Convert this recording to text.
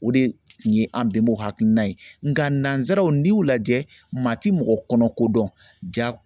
O de tun ye an bɛnbaaw hakilina ye nka nanzaraw n'i y'u lajɛ maa ti mɔgɔ kɔnɔ ko dɔn ja